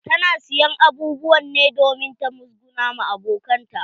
Ta na siyan abubuwan ne domin ta musguna wa abokanan ta.